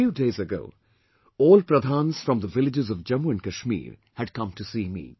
A few days ago, all Pradhans from the villages of Jammu & Kashmir had come to see me